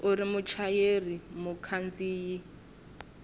u ri muchayeri mukhandziyi wa